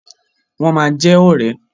Wọ́n ma jẹ ọ̀rẹ́.